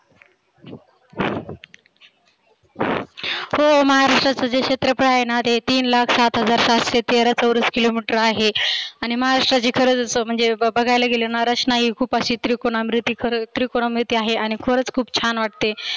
हो महाराष्ट्राचंंजे क्षेत्रफळ आहेना ते तीन लाख सात हजार सातशे तेरा चौरस किलो मिटर आहे. आणि महाराष्ट्राची खर जसं म्हणजे बघायला गेलं नारचना ही खुप आशी त्रिकोण अकृती खरं त्रिकोणाकृती आहे आणि खरच खुप छान वाटते.